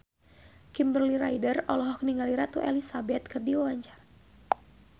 Kimberly Ryder olohok ningali Ratu Elizabeth keur diwawancara